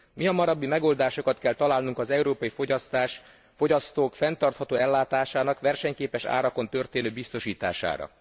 Mihamarabbi megoldásokat kell találnunk az európai fogyasztók fenntartható ellátásának versenyképes árakon történő biztosítására.